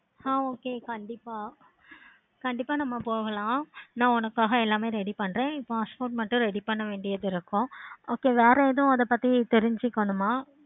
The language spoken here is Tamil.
ஆஹ் okay கண்டிப்பா கண்டிப்பா நம்ம போகலாம். நா உனக்காக எல்லாமே ready பண்றேன். passport மட்டுமே ready பண்ண வேண்டியது இருக்கும். so வேற எதுவும் அத பத்தி தெரிஞ்சிக்கணுமா?